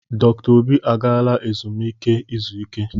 Dr. Obi agaala ezumike izu ike.